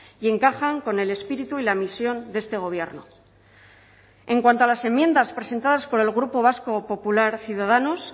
y encajan con el espíritu y la misión de este gobierno en cuanto a las enmiendas presentadas por el grupo vasco popular ciudadanos